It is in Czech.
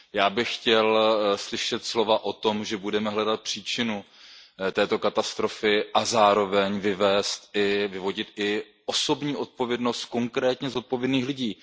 Já bych chtěl slyšet slova o tom, že budeme hledat příčinu této katastrofy a zároveň vyvodíme i osobní zodpovědnost konkrétně zodpovědných lidí.